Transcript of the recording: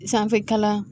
Sanfɛ kalan